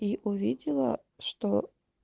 и увидела что